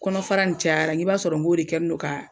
Kɔnɔfara in cayara , n k'i b'a sɔrɔ n k'o de kɛ ni don ka